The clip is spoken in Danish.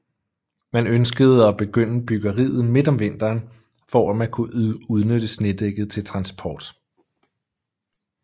Man ønskede at begynde byggeriet midt om vinteren for at man kunne udnytte snedækket til transport